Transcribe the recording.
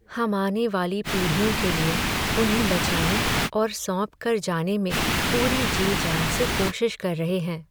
हम आने वाली पीढ़ियों के लिए, उन्हें बचाने और सौंप कर जाने में पूरी जी जान से कोशिश कर रहे हैं।